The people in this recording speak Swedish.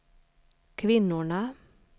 kvinnorna